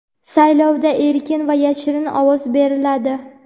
Saylovda erkin va yashirin ovoz beriladi.